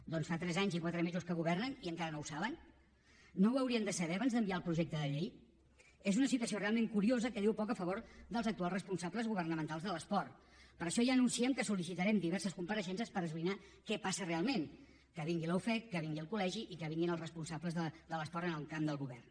doncs fa tres anys i quatre mesos que governen i encara no ho saben no ho haurien de saber abans d’enviar el projecte de llei és una situació realment curiosa que diu poc a favor dels actuals responsables governamentals de l’esport per això ja anunciem que solreixences per esbrinar què passa realment que vingui la ufec que vingui el col·legi i que vinguin els responsables de l’esport en el camp del govern